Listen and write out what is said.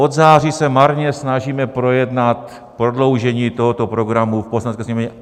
Od září se marně snažíme projednat prodloužení tohoto programu v Poslanecké sněmovně.